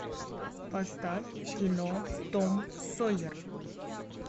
поставь кино том сойер